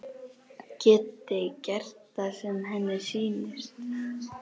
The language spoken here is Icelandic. Geti gert það sem henni sýnist.